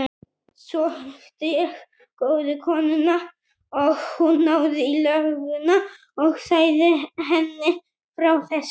Svo hitti ég góðu konuna og hún náði í lögguna og sagði henni frá þessu.